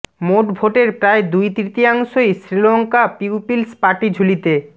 মোট ভোটের প্রায় দুই তৃতীয়াংশই শ্রীলঙ্কা পিউপিলস পার্টি ঝুলিতে